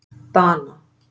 Dana